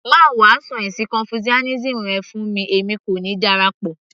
má wàásù ẹ̀sìn confucianism rẹ fún mi èmi kò ní darapọ̀